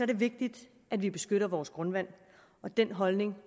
det vigtigt at vi beskytter vores grundvand og den holdning